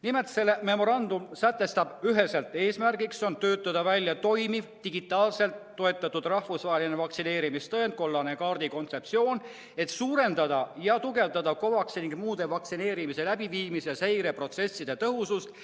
Nimelt, see memorandum sätestab üheselt: eesmärk on töötada välja toimiv digitaalselt toetatud rahvusvaheline vaktsineerimistõend, kollase kaardi kontseptsioon, et suurendada COVAX-i kaudu vaktsineerimise ning muude vaktsineerimiste läbiviimise seire tõhusust.